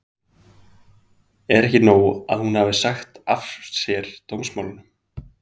Heimir Már: Er ekki nóg að hún hafi sagt af sér dómsmálunum?